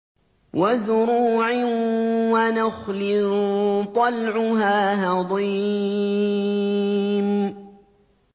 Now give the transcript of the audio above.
وَزُرُوعٍ وَنَخْلٍ طَلْعُهَا هَضِيمٌ